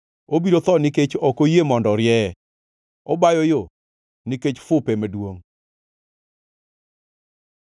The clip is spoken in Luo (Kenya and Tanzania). Obiro tho nikech ok oyie mondo orieye, obayo yo nikech fupe maduongʼ.